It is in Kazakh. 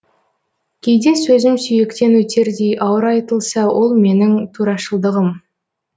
кейде сөзім сүйектен өтердей ауыр айтылса ол менің турашылдығым